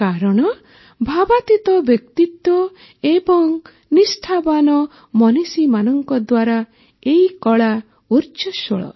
କାରଣ ଭାବାତୀତ ବ୍ୟକ୍ତିତ୍ୱ ଏବଂ ନିଷ୍ଠାବାନ ମନୀଷୀମାନଙ୍କ ଦ୍ୱାରା ଏହି କଳା ଉର୍ଜ୍ଜସ୍ୱଳ